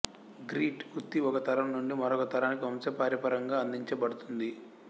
grit వృత్తి ఒక తరం నుండి మరొక తరానికి వంశపారంపర్యంగా అందించబడుతుంది